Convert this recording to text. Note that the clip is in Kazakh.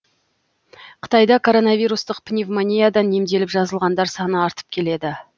қытайда коронавирустық пневмониядан емделіп жазылғандар саны артып келеді